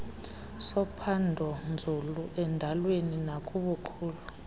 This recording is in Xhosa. sophandonzulu endalweni nakubukhulu